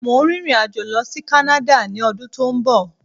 Mo ń rin ìrìn àjò lọ sí kánáda ni ọdún tí ó ń bọ̀